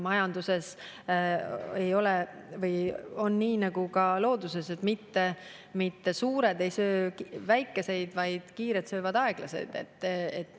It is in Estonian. Majanduses on nii nagu looduses: mitte suured ei söö väikeseid, vaid kiired söövad aeglaseid.